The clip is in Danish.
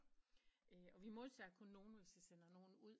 Og vi modtager kun nogen hvis vi sender nogen ud